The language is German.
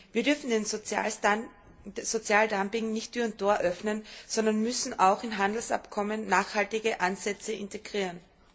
Wir dürfen dem Sozialdumping nicht Tür und Tor öffnen, sondern müssen auch in Handelsabkommen nachhaltige Ansätze integrieren.